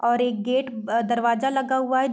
और एक गेट ब दरवाज़ा लगा हुआ है।